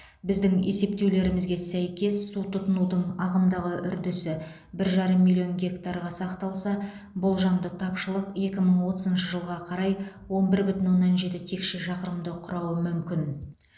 біздің есептеулерімізге сәйкес су тұтынудың ағымдағы үрдісі бір жарым миллион гектарға сақталса болжамды тапшылық екі мың отызыншы жылға қарай он бір бүтін оннан жеті текше шақырымды құрауы мүмкін